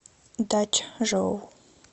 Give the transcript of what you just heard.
дачжоу